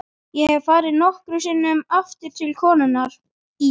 Ég hef farið nokkrum sinnum aftur til konunnar í